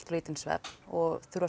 lítinn svefn og þurfa